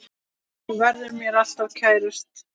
Þú verður mér alltaf kærust.